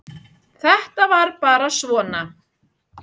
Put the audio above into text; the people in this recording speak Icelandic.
Þetta var bara svona.